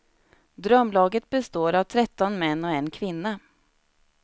Drömlaget består av tretton män och en kvinna.